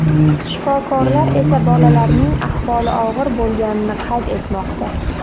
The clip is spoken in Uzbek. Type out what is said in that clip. Shifokorlar esa bolalarning ahvoli og‘ir bo‘lganini qayd etmoqda.